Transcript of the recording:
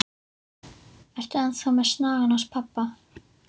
Ertu enn þá með snagann hans pabba?